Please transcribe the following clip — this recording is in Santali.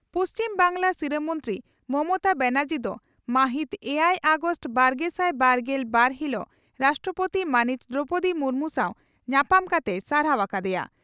ᱯᱩᱪᱷᱤᱢ ᱵᱟᱝᱜᱽᱞᱟ ᱥᱤᱨᱟᱹ ᱢᱚᱱᱛᱨᱤ ᱢᱚᱢᱚᱛᱟ ᱵᱟᱱᱟᱨᱡᱤ ᱫᱚ ᱢᱟᱹᱦᱤᱛ ᱮᱭᱟᱭ ᱟᱜᱚᱥᱴ ᱵᱟᱨᱜᱮᱥᱟᱭ ᱵᱟᱨᱜᱮᱞ ᱵᱟᱨ ᱦᱤᱞᱚᱜ ᱨᱟᱥᱴᱨᱚᱯᱳᱛᱤ ᱢᱟᱹᱱᱤᱡ ᱫᱨᱚᱣᱯᱚᱫᱤ ᱢᱩᱨᱢᱩ ᱥᱟᱣ ᱧᱟᱯᱟᱢ ᱠᱟᱛᱮᱭ ᱥᱟᱨᱦᱟᱣ ᱟᱠᱟ ᱫᱮᱭᱟ ᱾